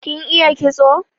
Kin iya kitso?